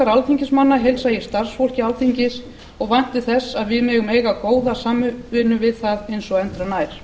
alþingismanna heilsa ég starfsfólki alþingis og vænti þess að við megum eiga góða samvinnu við það eins og endranær